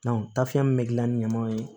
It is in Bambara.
tafiyɛn min bɛ gilan ni ɲamaw ye